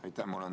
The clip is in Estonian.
Aitäh!